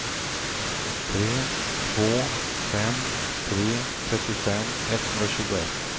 tre två fem tre trettiofem etthundratjugoett